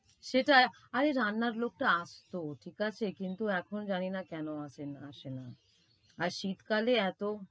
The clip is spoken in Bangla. সেটা, আরে রান্নার লোকতো আসত ঠিকাছে কিন্তু এখন জানিনা কেন আসেনা। আর শীতকালে এতো